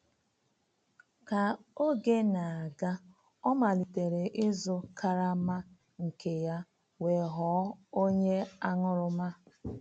Ka oge na-aga, ọ malitere ịzụ karama nke ya wee ghọọ onye aṅụrụma.